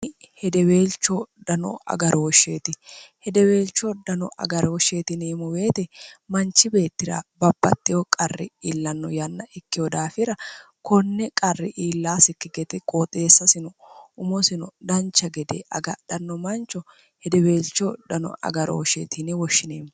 hedeweelchoo dano agarooshsheeti hedeweelcho dano agarooshsheetiniimuweete manchi beettira bapatteho qarri iillanno yanna ikkeho daafira konne qarri iillaasikkigete qooxeessasino umosino dancha gede agadhanno mancho hedeweelcho dano agarooshsheetini woshshineemmo